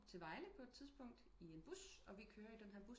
Til Vejle på et tidspunkt i en bus og vi kører i denne bus